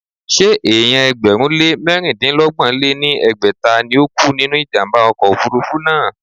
Ṣé èèyàn ẹgbẹ̀rún lé mẹ̀rindínọgbọ̀n lé ní ẹgbẹ́ta ni ó kú nínú ìjàmbá ọkọ̀ òfurufú náà?